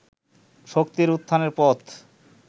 শক্তির উত্থানের পথ